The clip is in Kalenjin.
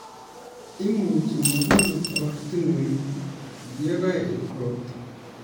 Imuchi mabunok ortinwek yekaet robta